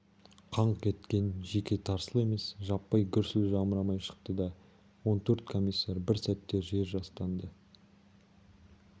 қаңқ еткен жеке тарсыл емес жаппай гүрсіл жамырай шықты да он төрт комиссар бір сәтте жер жастанды